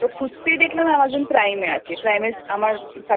খুঁজতে ই দেখলাম Amazon Primeএ আমারSubscriptionনেওয়া আছে Prime এ